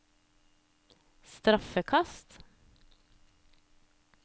straffekast